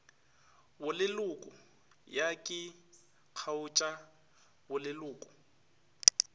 boleloko ya ke kgaotša boleloko